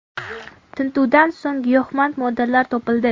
Tintuvdan so‘ng giyohvand moddalar topildi.